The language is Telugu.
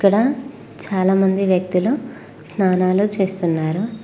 అక్కడ చాలామంది వ్యక్తులు స్నానాలు చేస్తున్నారు.